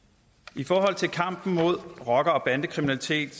i forhold til kampen mod rocker og bandekriminalitet